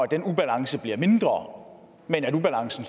den ubalance bliver mindre men ubalancen